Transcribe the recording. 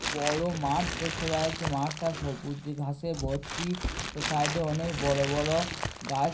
বড় মাঠ দেখতে পাওয়া যাচ্ছে। মাঠটা সবুজ ঘাসে ভর্তি । তার সাইডে অনেক বড় বড় গাছ।